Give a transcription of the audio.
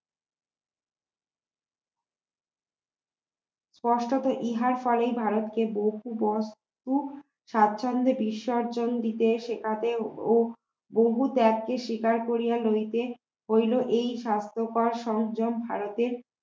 স্পষ্টতো ইহার ফলেই ভারতে দস্তুর বা স্বাচ্ছন্দ বিসর্জন দিতে শেখাতে ও বহু ত্যাগকে স্বীকার করিয়া লইতে হইল এই স্বাস্থ্যকর সংযম হারাতে